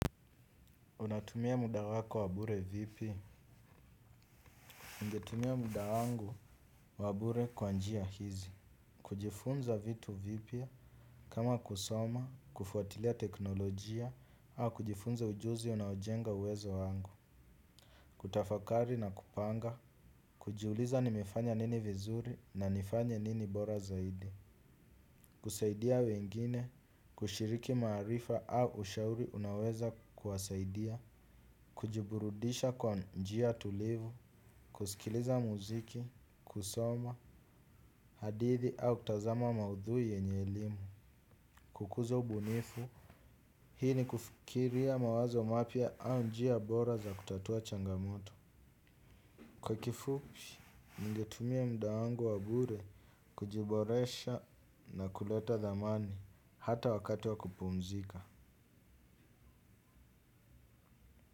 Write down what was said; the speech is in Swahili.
Unatumia muda wako wa bure vipi? Ningetumia muda wangu wabure kwa njia hizi. Kujifunza vitu vipi kama kusoma, kufuatilia teknolojia, au kujifunza ujuzi unaojenga uwezo wangu. Kutafakari na kupanga. Kujiuliza nimefanya nini vizuri na nifanye nini bora zaidi. Kusaidia wengine, kushiriki maarifa au ushauri unaoweza kuwasaidia. Kujiburudisha kwa njia tulivu. Kusikiliza muziki, kusoma, hadithi au kutazama maudhui yenye elimu. Kukuza ubunifu, hii ni kufikiria mawazo mapya au njia bora za kutatua changamoto. Kwa kifua, ningetumia muda wangu wabure, kujiboresha na kuleta dhamani hata wakati wa kupumzika.